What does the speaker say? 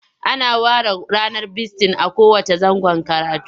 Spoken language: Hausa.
Ana ware ranar bisitin a kowanne zangon karatu.